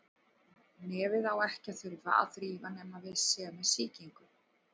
Nefið á ekki að þurfa að þrífa nema við séum með sýkingu.